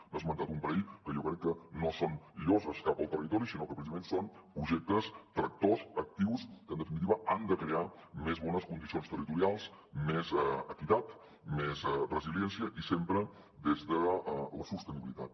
n’ha esmentat un parell que jo crec que no són lloses cap al territori sinó que precisament són projectes tractor actius que en definitiva han de crear més bones condicions territorials més equitat més resiliència i sempre des de la sostenibilitat